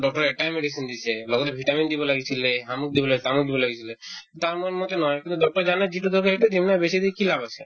doctor য়ে এটায়ে medicine দিছে লগতে vitamin দিব লাগিছিলে শামুক দিব লাগিছিলে আমুক দিব লাগিছিলে তাৰ মান মতে নহয় কিন্তু doctor য়ে জানে যিটো দৰকাৰ সেইটো দিম ন বেছি দি কি লাভ আছে